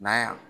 N'a ya